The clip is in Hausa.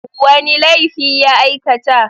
Wanne laifi ya aika ta?